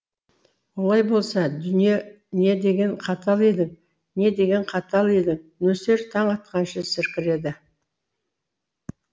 олай болса дүние не деген қатал едің не деген қатал едің нөсер таң атқанша сіркіреді